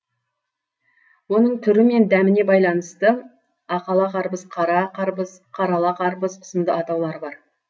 оның түрі мен дәміне байланысты ақала қарбыз қара қарбыз қара ала қарбыз сынды атаулары бар